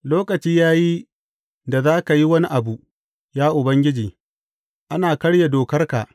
Lokaci ya yi da za ka yi wani abu, ya Ubangiji; ana karya dokarka.